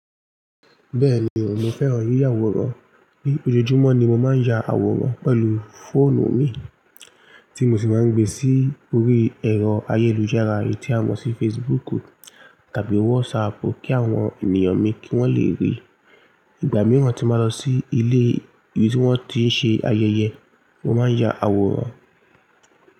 Bẹ́ẹ̀ni o, mo fẹ́ràn yíyà awòrán, ni ojojúmọ́ ni mo máa ń ya àwòrán pẹ̀lú fóònù mi tí mo sì máa ń gbe sí orí ẹ̀rọ ayélujára eyì tí a mọ̀ sí Facebook tàbí WhatsApp kí àwọn ènìyàn mi kí wón lè rí. Ìgbà mìíràn tí n bá lọ sí ilé ibi tí wón ti ń ṣe ayẹyẹ, mo máa ń ya àwòrán.